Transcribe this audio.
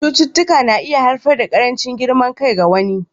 Cututtuka na iya haifar da ƙarancin girman kai ga wani.